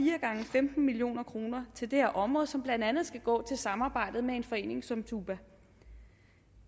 femten million kroner til det her område som blandt andet skal gå til samarbejdet med en forening som tuba